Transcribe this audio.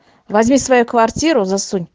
возьми свою квартиру засунь